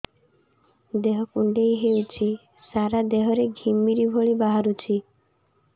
ଦେହ କୁଣ୍ଡେଇ ହେଉଛି ସାରା ଦେହ ରେ ଘିମିରି ଭଳି ବାହାରୁଛି